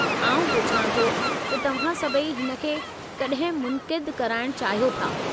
आउं पुछां थो त तव्हां सभई हिन खे कॾहिं मुनक़िदु कराइणु चाहियो था?